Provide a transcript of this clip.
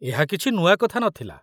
ଏହା କିଛି ନୂଆ କଥା ନ ଥିଲା।